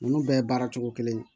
Ninnu bɛɛ ye baara cogo kelen